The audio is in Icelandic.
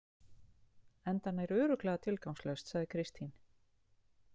Enda nær örugglega tilgangslaust, sagði Kristín.